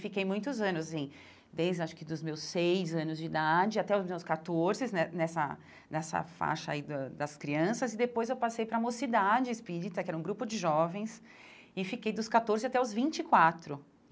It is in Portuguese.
Fiquei muitos anos em, desde acho que dos meus seis anos de idade até os meus catorzes né, nessa nessa faixa aí da das crianças, e depois eu passei para a mocidade espírita, que era um grupo de jovens, e fiquei dos catorze até os vinte e quatro.